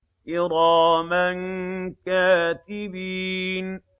كِرَامًا كَاتِبِينَ